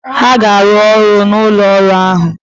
Ha ga-arụ ọrụ n'ụlọ ọrụ ahụ!